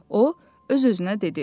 O öz-özünə dedi.